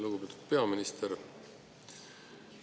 Lugupeetud peaminister!